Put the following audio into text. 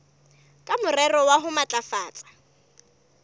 ka morero wa ho matlafatsa